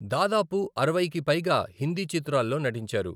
దాదాపు అరవైకి పైగా హిందీ చిత్రాల్లో నటించారు.